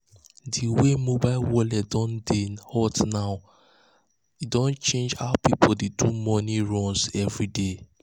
the way mobile wallet don dey um hot now hot now don change how people dey do money um runs every day.